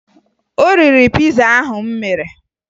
O riri piza ahụ m mere.